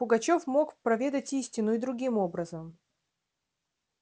пугачёв мог проведать истину и другим образом